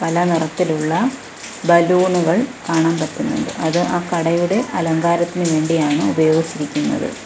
പല നിറത്തിലുള്ള ബലൂണുകൾ കാണാൻ പറ്റുന്നുണ്ട് അത് ആ കടയുടെ അലങ്കാരത്തിന് വേണ്ടിയാണ് ഉപയോഗിച്ചിരിക്കുന്നത്.